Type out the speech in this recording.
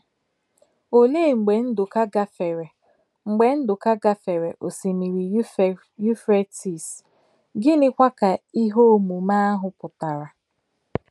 Olee mgbe Ndụka gafere mgbe Ndụka gafere Osimiri Yufretis, gịnịkwa ka ihe omume ahụ pụtara?